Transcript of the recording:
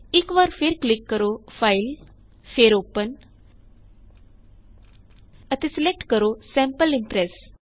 ਇਕ ਵਾਰ ਫੇਰ ਕਲਿੱਕ ਕਰੋ ਫਾਈਲ ਫੇਰ ਓਪਨ ਅਤੇ ਸਿਲੇਕਟ ਕਰੋ ਸੈਂਪਲ ਇੰਪ੍ਰੈਸ